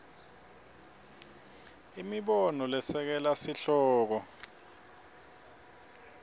imibono lesekela sihloko